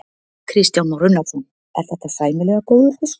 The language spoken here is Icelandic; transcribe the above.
Kristján Már Unnarsson: Er þetta sæmilega góður fiskur?